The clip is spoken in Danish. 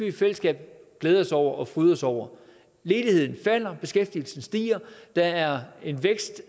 i fællesskab glæde os over fryde os over ledigheden falder beskæftigelsen stiger der er en vækst